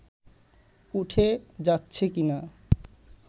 উঠে যাচ্ছে কিনা